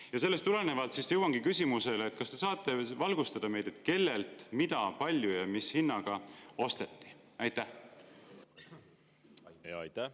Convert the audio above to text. Ja sellest tulenevalt jõuangi küsimuseni: kas te saate meid valgustada, kellelt, mida, kui palju ja mis hinnaga osteti?